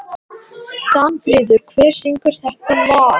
Danfríður, hver syngur þetta lag?